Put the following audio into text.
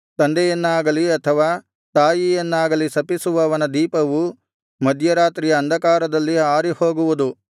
ತಂದೆಯನ್ನಾಗಲಿ ಅಥವಾ ತಾಯಿಯನ್ನಾಗಲಿ ಶಪಿಸುವವನ ದೀಪವು ಮಧ್ಯರಾತ್ರಿಯ ಅಂಧಕಾರದಲ್ಲಿ ಆರಿಹೋಗುವುದು